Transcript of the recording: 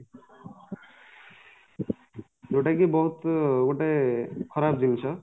ଯୋଉଟାକି ବହୁତ ଗୋଟେ ଖରାପ ଜିନିଷ